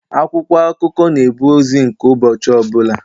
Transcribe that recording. Akwụkwọ akụkọ na-ebu ozi nke ụbọchị ọbụla.